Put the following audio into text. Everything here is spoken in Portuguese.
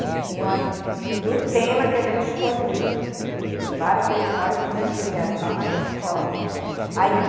Em cima do tema que a gente escolhia para o Festival Estudantil, que era só na escola. aí